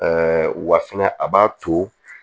wa fɛnɛ a b'a to